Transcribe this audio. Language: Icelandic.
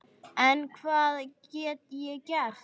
En hvað get ég gert?